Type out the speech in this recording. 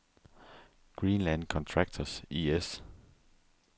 Greenland Contractors I/S